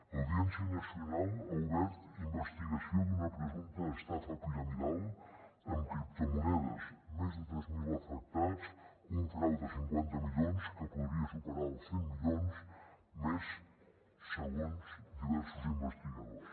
l’audiència nacional ha obert investigació d’una presumpta estafa piramidal amb criptomonedes més de tres mil afectats un frau de cinquanta milions que podria superar els cent milions més segons diversos investigadors